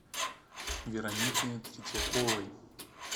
веронике третьяковой